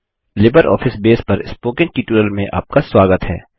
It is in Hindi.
लिबर ऑफिस बेस पर स्पोकन ट्यूटोरियल में आपका स्वागत है